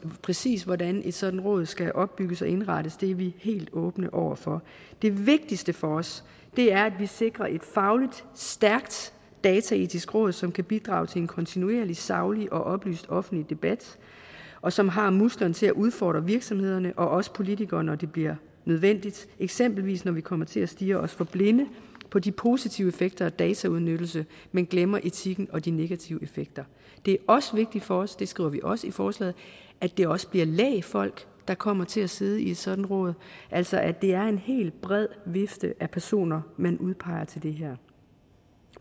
præcis hvordan et sådant råd skal opbygges og indrettes er vi helt åbne over for det vigtigste for os er at vi sikrer et fagligt stærkt dataetisk råd som kan bidrage til en kontinuerlig saglig og oplyst offentlig debat og som har musklerne til at udfordre virksomhederne og os politikere når det bliver nødvendigt eksempelvis når vi kommer til at stirre os for blinde på de positive effekter af dataudnyttelse men glemmer etikken og de negative effekter det er også vigtigt for os det skriver vi også i forslaget at det også bliver lægfolk der kommer til at sidde i et sådant råd altså at det er en helt bred vifte af personer man udpeger til det her